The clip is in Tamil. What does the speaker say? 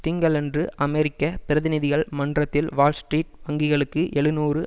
திங்களன்று அமெரிக்க பிரதிநிதிகள் மன்றத்தில் வால்ஸ்ட்ரீட் வங்கிகளுக்கு எழுநூறு